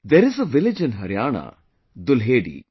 There is a village in Haryana Dulhedi